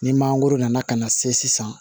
Ni mangoro nana ka na se sisan